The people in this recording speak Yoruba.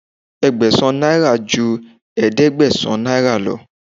Ẹgbẹ̀sàn náírà ju ẹ̀ẹ́dẹ́gbẹ̀sán náírà lọ.